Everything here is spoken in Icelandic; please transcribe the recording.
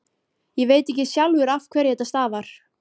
Ég veit ekki sjálfur af hverju þetta stafar.